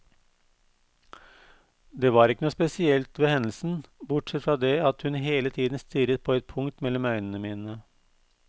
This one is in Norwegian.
Det var ikke noe spesielt ved hendelsen, bortsett fra det at hun hele tiden stirret på et punkt mellom øynene mine.